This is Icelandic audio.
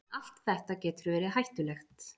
En allt þetta getur verið hættulegt.